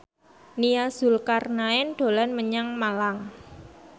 Nia Zulkarnaen dolan menyang Malang